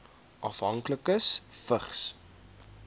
afhanklikes vigs